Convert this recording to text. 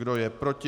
Kdo je proti?